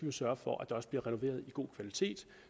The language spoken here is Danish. jo sørge for at der også bliver renoveret i god kvalitet